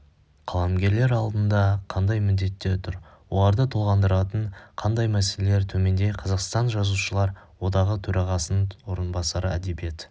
қаламгерлер алдында қандай міндеттер тұр оларды толғандыратын қандай мәселелер төменде қазақстан жазушылар одағы төрағасының орынбасары әдебиет